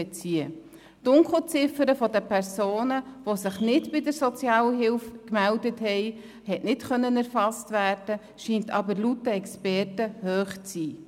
Die Dunkelziffer von Personen, die sich nicht bei der Sozialhilfe gemeldet haben, hat nicht erfasst werden können, sie scheint aber laut den Experten hoch zu sein.